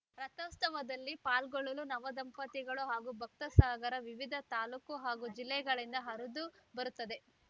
ರಥೋತ್ಸವದಲ್ಲಿ ಪಾಲ್ಗೊಳ್ಳಲು ನವ ದಂಪತಿಗಳು ಹಾಗೂ ಭಕ್ತ ಸಾಗರ ವಿವಿಧ ತಾಲೂಕು ಹಾಗೂ ಜಿಲ್ಲೆಗಳಿಂದ ಹರಿದು ಬರುತ್ತದೆ